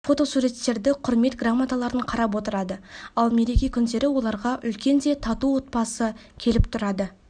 фотосуреттерді құрмет грамоталарын қарап отырады ал мереке күндері оларға үлкен де тату отбасы келіп тұрады